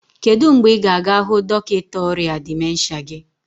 kedu mgbe ị ga-aga hụ dọkịta ọrịa dịmensha gị?